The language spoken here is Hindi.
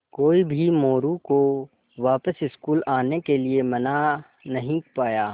कोई भी मोरू को वापस स्कूल आने के लिये मना नहीं पाया